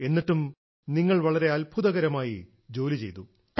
എന്നിട്ടും നിങ്ങൾ വളരെ അത്ഭുതകരമായി ജോലി ചെയ്തു